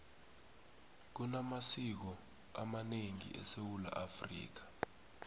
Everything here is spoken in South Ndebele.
kunamasiko amanengi esewula afrika